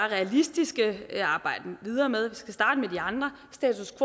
realistiske at arbejde videre med og andre status